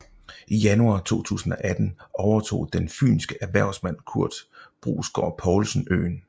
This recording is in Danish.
I januar 2018 overtog den fynske erhvervsmand Kurt Brusgård Poulsen øen